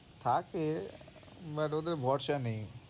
থাকে but ওদের ভরসা নেই।